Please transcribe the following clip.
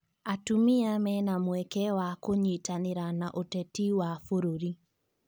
Atumia mena mweke wa kũnyitanĩra na ũteti wa bũrũri